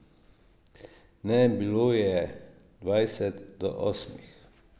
Ne, bilo je dvajset do osmih.